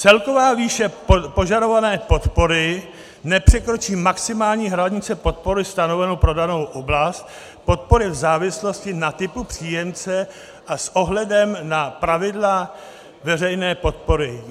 Celková výše požadované podpory nepřekročí maximální hranici podpory stanovenou pro danou oblast, podpory v závislosti na typu příjemce a s ohledem na pravidla veřejné podpory.